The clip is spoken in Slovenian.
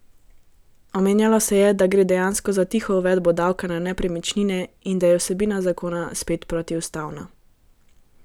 Omenjalo se je, da gre dejansko za tiho uvedbo davka na nepremičnine in da je vsebina zakona spet protiustavna.